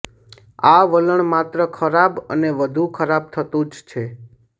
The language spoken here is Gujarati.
આ વલણ માત્ર ખરાબ અને વધુ ખરાબ થતું જ છે